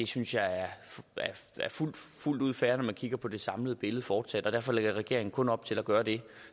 synes jeg er fuldt ud fair når man kigger på det samlede billede fortsat og derfor lægger regeringen kun op til at gøre det